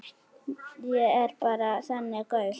Ég er bara þannig gaur.